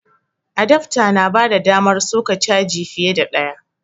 Adafta na bada damar soka caji fiye da ɗaya